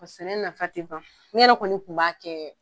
Sɛnɛ nafa te ban ne yɛrɛ kɔni kun b'a kɛ .